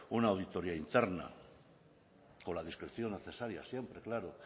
una auditoria interna con la discreción necesaria siempre claro